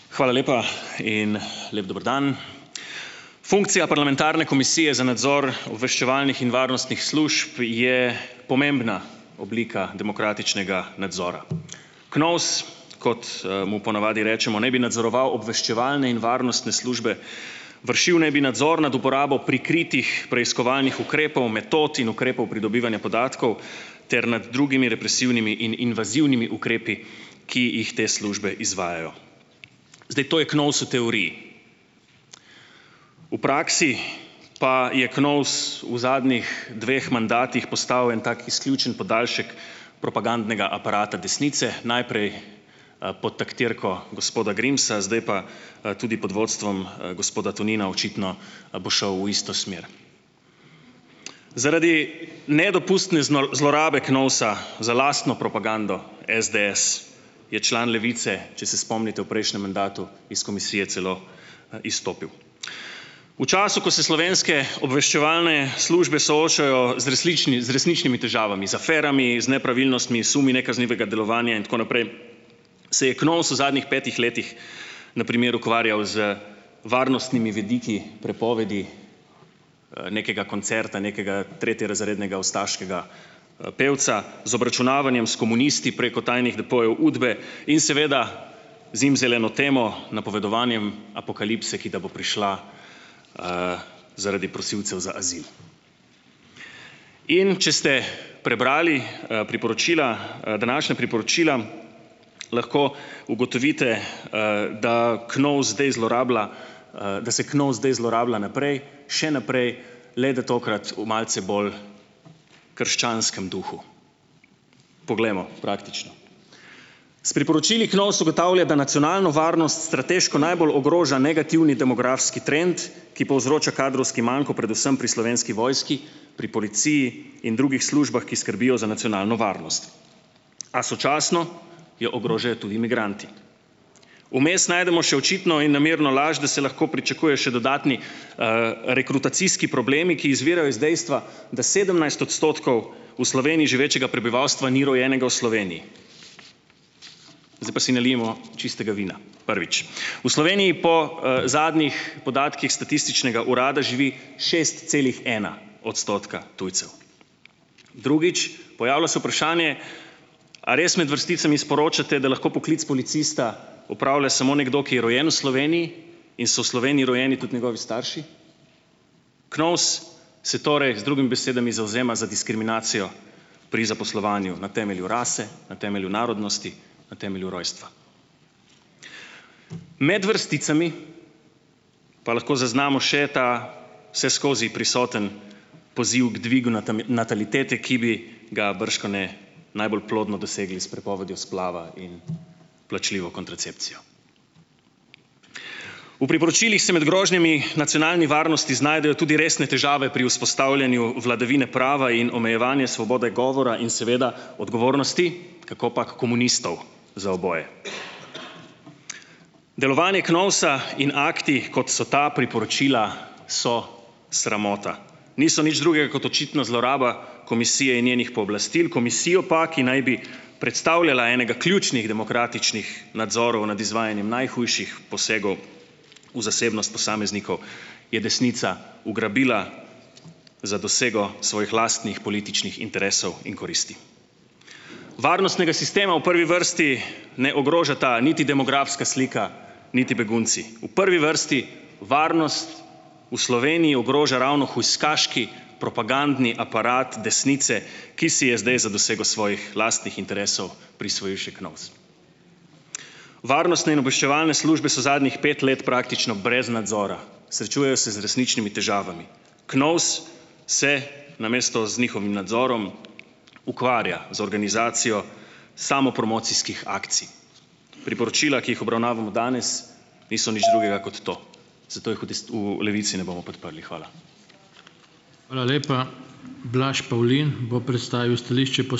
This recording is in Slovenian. Hvala lepa in lep dober dan. Funkcija parlamentarne komisije za nadzor obveščevalnih in varnostnih služb je pomembna oblika demokratičnega nadzora. KNOVS, kot, mu po navadi rečemo, naj bi nadzoroval obveščevalne in varnostne službe, vršil naj bi nadzor nad uporabo prikritih preiskovalnih ukrepov, metod in ukrepov pridobivanja podatkov ter nad drugimi represivnimi in invazivnimi ukrepi, ki jih te službe izvajajo. Zdaj to je KNOVS v teoriji. V praksi pa je KNOVS v zadnjih dveh mandatih postal en tak izključen podaljšek propagandnega aparata desnice, najprej, pod taktirko gospoda Grimsa, zdaj pa, tudi pod vodstvom, gospoda Tonina očitno, bo šel v isto smer. Zaradi nedopustne zlorabe KNOVS-a za lastno propagando SDS, je član Levice, če se spomnite, v prejšnjem mandatu iz komisije celo izstopil. V času, ko se slovenske obveščevalne službe soočajo z resničnimi težavami, z aferami, z nepravilnostmi, sumi nekaznivega delovanja in tako naprej, se je KNOVS v zadnjih petih letih na primeru ukvarjal z varnostnimi vidiki prepovedi, nekega koncerta, nekega tretjerazrednega ustaškega, pevca, z obračunavanjem s komunisti preko tajnih depojev UDBE in seveda zimzeleno temo, napovedovanjem apokalipse, ki da bo prišla, zaradi prosilcev za azil. In če ste prebrali, priporočila, današnja priporočila, lahko ugotovite, da KNOVS zdaj zlorablja, da se KNOVS zdaj zlorablja naprej, še naprej, le da tokrat v malce bolj krščanskem duhu. Poglejmo praktično. S priporočili KNOVS ugotavlja, da nacionalno varnost strateško najbolj ogroža negativni demografski trend, ki povzroča kadrovski manko, predvsem pri slovenski vojski, pri policiji in drugih službah, ki skrbijo za nacionalno varnost. A sočasno jo ogrožajo tudi migranti. Vmes najdemo še očitno in namerno laž, da se lahko pričakuje še dodatni, rekrutacijski problemi, ki izvirajo iz dejstva, da sedemnajst odstotkov v Sloveniji živečega prebivalstva ni rojenega v Sloveniji. Zdaj pa si nalijemo čistega vina. Prvič, v Sloveniji po, zadnjih podatkih Statističnega urada živi šest celih ena odstotka tujcev. Drugič, pojavlja se vprašanje, a res imeti vrsticami sporočate, da lahko poklic policista opravlja samo nekdo, ki je rojen v Sloveniji in so v Sloveniji rojeni tudi njegovi starši? KNOVS se torej z drugimi besedami zavzema za diskriminacijo pri zaposlovanju na temelju rase, na temelju narodnosti, na temelju rojstva. Med vrsticami pa lahko zaznamo še ta vseskozi prisoten poziv k dvigu natalitete, ki bi ga bržkone najbolj plodno dosegli s prepovedjo splava in plačljivo kontracepcijo. V priporočilih se med grožnjami nacionalni varnosti znajdejo tudi resne težave pri vzpostavljanju vladavine prava in omejevanje svobode govora in seveda odgovornosti kakopak komunistov za oboje. Delovanje KNOVS-a in akti, kot so ta priporočila, so sramota. Niso nič drugega kot očitno zloraba komisije in njenih pooblastil, komisijo pa, ki naj bi predstavljala enega ključnih demokratičnih nadzorov nad izvajanjem najhujših posegov v zasebnost posameznikov, je desnica ugrabila za dosego svojih lastnih političnih interesov in koristi. Varnostnega sistema v prvi vrsti ne ogrožata niti demografska slika niti begunci. V prvi vrsti varnost v Sloveniji ogroža ravno hujskaški, propagandni aparat desnice, ki si je zdaj za dosego svojih lastnih interesov prisvojil še KNOVS. Varnostne in obveščevalne službe so zadnjih pet let praktično brez nadzora. Srečujejo se z resničnimi težavami. KNOVS se namesto z njihovim nadzorom ukvarja z organizacijo samopromocijskih akcij. Priporočila, ki jih obravnavamo danes niso nič drugega kot to. Zato jih v v Levici ne bomo podprli. Hvala. Hvala lepa. Blaž Pavlin bo predstavil stališče ...